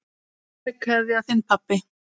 Kær kveðja, þinn pabbi.